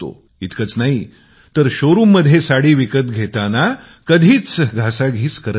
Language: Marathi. इतकेच नाही शोरुम मध्ये साडी विकत घेताना कधीच भाव करत नाही